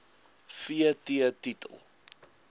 v t titel